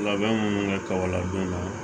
Labɛn minnu bɛ kabalabon na